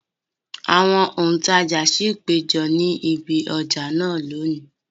Àwọn òǹtajà ṣì péjọ ni ibi ọjà náà lónìí